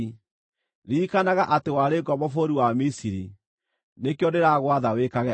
Ririkanaga atĩ warĩ ngombo bũrũri wa Misiri. Nĩkĩo ndĩragwatha wĩkage ũguo.